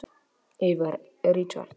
Yðar Richard